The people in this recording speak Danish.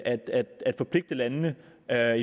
er